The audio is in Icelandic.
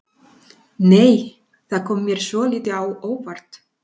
Nei! Það kom mér svolítið á óvart!